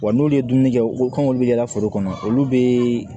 Wa n'olu ye dumuni kɛ ko kan olu bɛ kɛ foro kɔnɔ olu bɛ